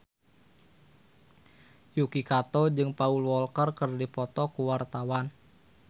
Yuki Kato jeung Paul Walker keur dipoto ku wartawan